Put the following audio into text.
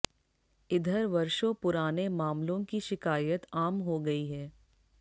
इधर वर्षों पुराने मामलों की शिकायत आम हो गयी है